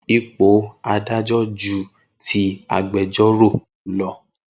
Ipò adájọ́ ju ti agbejọ́rò lọ.